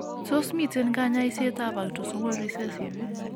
Tos miten kanyaiset ab autosomal recessive